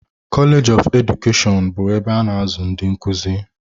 Koleeji of Edukeshọn bụ ebe a na-azụ ndị nkuzi.